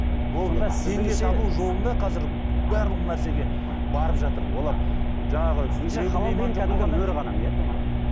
қазір барлық нәрсеге барып жатыр олар жаңағы